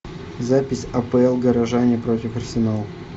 запись апл горожане против арсенал